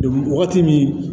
wagati min